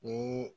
Ni